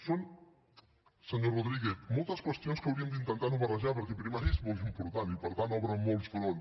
són senyor rodríguez moltes qüestions que hauríem d’intentar no barrejar perquè primària és molt important i per tant obre molts fronts